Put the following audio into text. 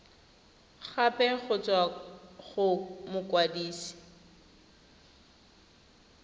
gape go tswa go mokwadise